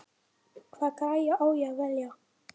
Hvaða græju á að velja?